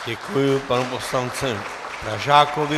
Děkuji panu poslanci Pražákovi.